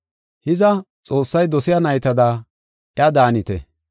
Hiza, Xoossay dosiya naytada iya daanite.